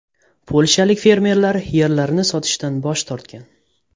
Polshalik fermerlar yerlarini sotishdan bosh tortgan.